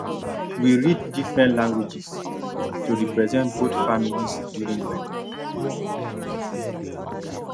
we read different languages to represent both families during wedding